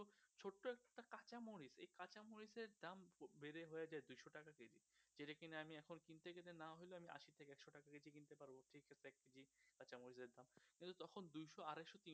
তিনশো আড়াইশো